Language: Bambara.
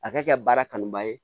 A ka kɛ baara kanu ba ye